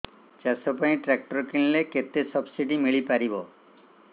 ଚାଷ ପାଇଁ ଟ୍ରାକ୍ଟର କିଣିଲେ କେତେ ସବ୍ସିଡି ମିଳିପାରିବ